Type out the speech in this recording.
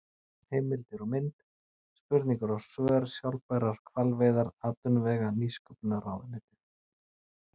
Heimildir og mynd: Spurningar og svör Sjálfbærar hvalveiðar Atvinnuvega- og nýsköpunarráðuneytið.